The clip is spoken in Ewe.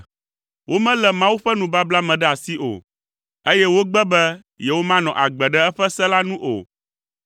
Womelé Mawu ƒe nubabla me ɖe asi o, eye wogbe be yewomanɔ agbe ɖe eƒe se la nu o.